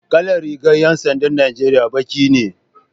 Kalar rigar 'yan sandan Najeriya baki ne